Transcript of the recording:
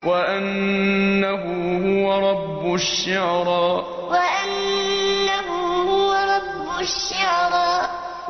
وَأَنَّهُ هُوَ رَبُّ الشِّعْرَىٰ وَأَنَّهُ هُوَ رَبُّ الشِّعْرَىٰ